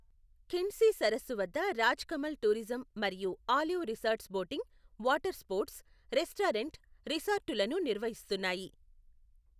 ఖిండ్సి సరస్సు వద్ద రాజ్కమల్ టూరిజం మరియు olive resorts boating, water sports, restaurant, రిసార్టులను నిర్వహిస్తున్నాయి.